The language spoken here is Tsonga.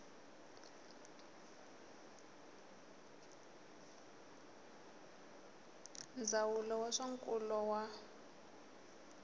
ndzawulo ya swa nkulo wa